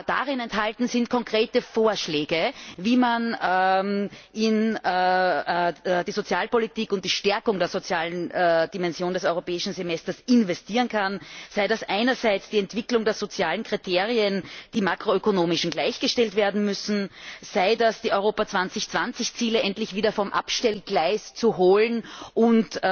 Darin enthalten sind konkrete Vorschläge, wie man in die Sozialpolitik und die Stärkung der sozialen Dimension des Europäischen Semesters investieren kann, sei es durch die Entwicklung der sozialen Kriterien, die makroökonomischen gleichgestellt werden müssen, oder dadurch, die Europa 2020 Ziele endlich wieder vom Abstellgleis zu holen und